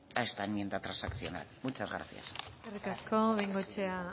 a esta enmienda transaccional muchas gracias eskerrik asko bengoechea